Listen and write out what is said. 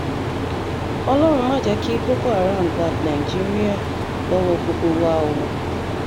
ọlọ́run ma jẹ́ kí boko haram gba nàìjíríà lọ́wọ́ gbogbo wa o